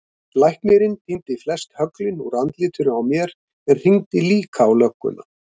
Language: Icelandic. Læknirinn tíndi flest höglin úr andlitinu á mér en hringdi líka á lögguna.